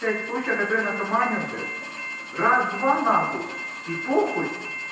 случай который наркоманию блять раз-два н и п